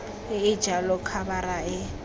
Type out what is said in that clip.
e e jalo khabara e